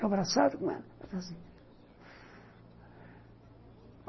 Eu abraçado com ela